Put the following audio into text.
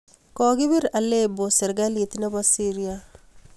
kokibir Aleppo serkali nebo Syria